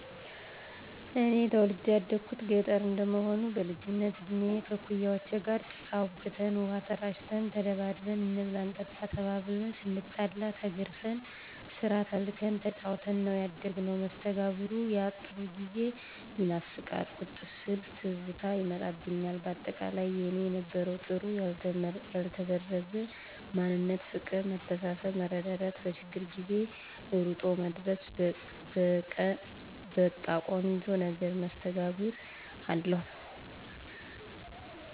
እኔ ተወልጀ ያደኩት ገጠረ እንደመሆኑ በልጅነት እድሜ ከእኩያወቸ ጋር ጭቃ አቡክተን፣ ውሃ ተራጭተን፣ ተደባድበን፣ እንብላ እንጠጣ ተባብልን፣ ስናጠፋ ተገርፈን፣ ስራ ተልከን ተጫውተን ነው ያደግነው። መስተጋብሩ ያጥሩ ጊዜ ይናፍቃል ቁጭ ስል ትዝታ ይመጣብኞል በአጠቃላይ የኔ የነበረው ጥሩ ያልተበረዘ ማንነት ፍቅር መተሳሰብ መረዳዳት በችግር ጊዜ እሮጦ መድረስ በቀ ቆንጆ ነገር መስተጋብር አለው።